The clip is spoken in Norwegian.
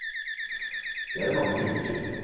Det er det mange grunner til.